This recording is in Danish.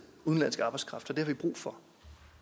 udenlandsk arbejdskraft vi brug for